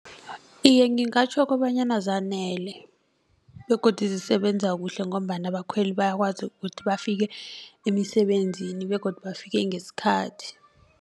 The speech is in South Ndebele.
Iye ngingatjho kobanyana zanele begodu zisebenza kuhle ngombana abakhweli bayakwazi ukuthi bafike emisebenzini begodu bafike ngesikhathi.